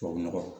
Tubabu nɔgɔ